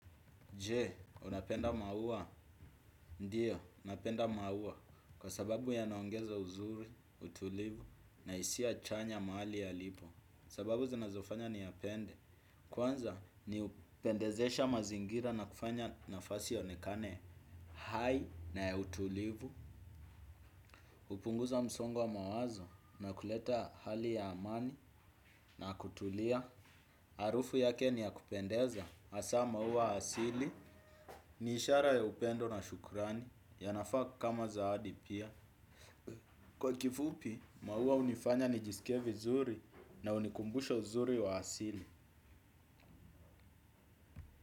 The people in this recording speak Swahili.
Jee, unapenda maua? Ndiyo, napenda maua kwa sababu yanaongeza uzuri, utulivu na hisia chanya mahali yalipo. Sababu zinazofanya niyapende. Kwanza, ni uipendezesha mazingira na kufanya nafasi ionekane hai na ya utulivu. Hupunguza msongo wa mawazo na kuleta hali ya amani na kutulia. Harufu yake ni yakupendeza, hasa maua asili, niishara ya upendo na shukrani. Yanafaa kama zawadi pia kwa kifupi, maua hunifanya nijisikie vizuri na hunikumbusha uzuri wa asili.